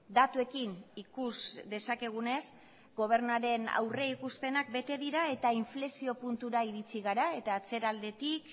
datuekin ikus dezakegunez gobernuaren aurrikuspenak bete dira eta inflexio puntura iritsi gara eta atzeraldetik